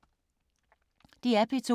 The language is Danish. DR P2